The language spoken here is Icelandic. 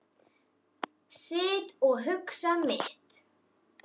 Sit og hugsa mitt.